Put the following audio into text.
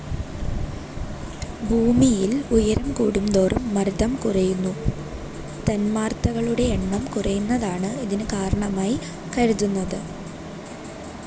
ഭൂമിയിൽ ഉയരം കൂടുന്തോറും മർദ്ദം കുറയുന്നു. തന്മാത്രകളുടെ എണ്ണം കുറയുന്നതാണ് ഇതിനു കാരണമായി കരുതുന്നത്.